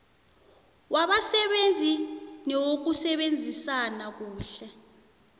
wabasebenzi newokusebenzisana kuhle